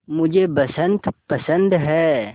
मुझे बसंत पसंद है